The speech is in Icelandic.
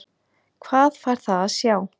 Hvað fær það að sjá?